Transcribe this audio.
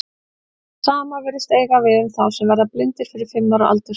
Það sama virðist eiga við um þá sem verða blindir fyrir fimm ára aldur.